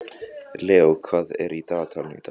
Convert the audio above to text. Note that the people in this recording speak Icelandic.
Leó, hvað er í dagatalinu í dag?